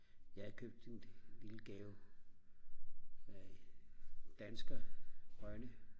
jeg købte en lille gave af dansker Rønne